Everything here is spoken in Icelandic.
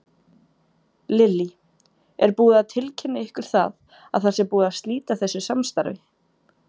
Lillý: Er búið að tilkynna ykkur það að það sé búið að slíta þessu samstarfi?